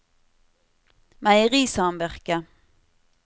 meierisamvirket